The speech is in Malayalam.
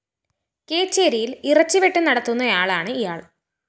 കേച്ചേരിയില്‍ ഇറച്ചിവെട്ട് നടത്തുന്നയാളാണ് ഇയാള്‍